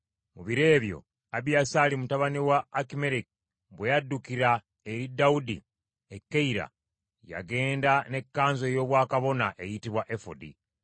Mu biro ebyo Abiyasaali mutabani wa Akimereki bwe yaddukira eri Dawudi e Keyira, yagenda ne kkanzu ey’obwakabona eyitibwa efodi.